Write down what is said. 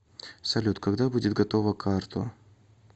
салют когда будет готова карто